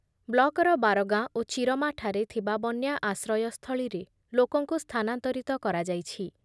ବ୍ଳକ୍‌ର ବାରଗାଁ ଓ ଚିରମାଠାରେ ଥିବା ବନ୍ୟା ଆଶ୍ରୟସ୍ଥଳୀରେ ଲୋକଙ୍କୁ ସ୍ଥାନାନ୍ତରିତ କରାଯାଇଛି ।